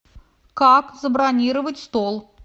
как забронировать стол